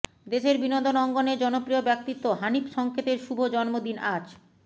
দেশের বিনোদন অঙ্গনের জনপ্রিয় ব্যক্তিত্ব হানিফ সংকেতের শুভ জন্মদিন আজ